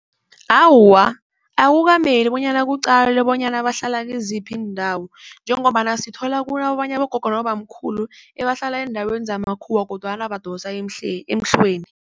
Awa, akukameli bonyana kuqalwe bonyana bahlala kiziphi iindawo njengombana sithola kunabanye abogogo nabobamkhulu ebahlala eendaweni zamakhuwa kodwana badosa emhlweni.